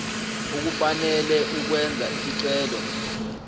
ukufanele ukwenza isicelo